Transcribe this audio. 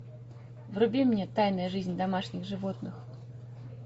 вруби мне тайная жизнь домашних животных